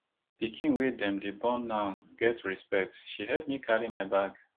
pikin wey dem dey born now get respect she help me carry my bag